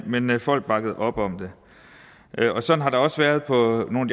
men men folk bakkede op om det og sådan har det også været på nogle